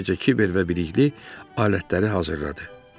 Həmin gecə Kiber və Bilikli alətləri hazırladı.